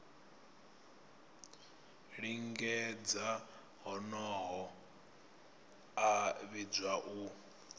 lingedza honoho a vhidzwa u